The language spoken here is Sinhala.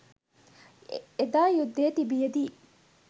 එදා යුද්ධය තිබියදී